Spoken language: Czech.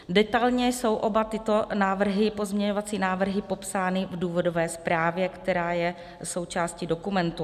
Detailně jsou oba tyto pozměňovací návrhy popsány v důvodové zprávě, která je součástí dokumentu.